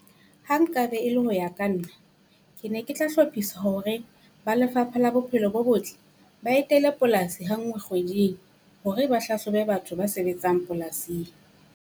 Ha nkabe e le hoya ka nna, ke ne ke tla hlophisa hore ba Lefapha la Bophelo bo Botle ba etele polasi ha ngwe kgweding hore ba hlahlobe batho ba sebetsang polasing.